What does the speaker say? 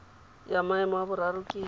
ya maemo a boraro ke